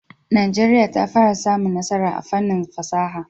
Najeriya ta fara samun nasara a fannin fasaha.